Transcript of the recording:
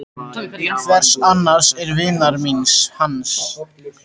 Hvers annars en vinar míns, hans